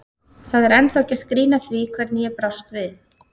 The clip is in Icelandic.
Það er ennþá gert grín að því hvernig ég brást við.